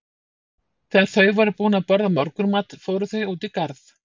Þegar þau voru búin að borða morgunmat fóru þau út í garð.